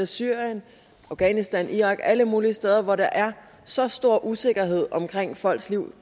syrien afghanistan irak alle mulige steder hvor der er så stor usikkerhed omkring folks liv